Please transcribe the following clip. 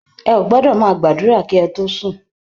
Ẹ ò gbọdọọ̀ má gbàdúrà kí ẹ tó sùn!